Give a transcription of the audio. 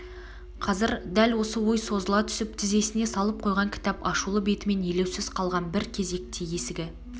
қазір дәл осы ой созыла түсіп тізесне салып қойған кітап ашулы бетімен елеусз қалған бір кезекте есігі